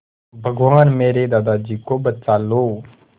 भगवान मेरे दादाजी को बचा लो